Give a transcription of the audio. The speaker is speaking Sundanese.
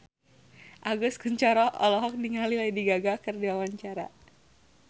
Agus Kuncoro olohok ningali Lady Gaga keur diwawancara